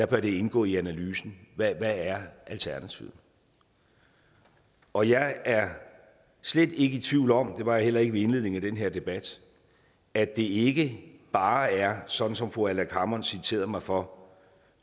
bør det indgå i analysen hvad er alternativet og jeg er slet ikke i tvivl om det var jeg heller ikke ved indledningen af den her debat at det ikke bare er sådan som fru aleqa hammond citerede mig for